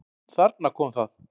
Þarna kom það!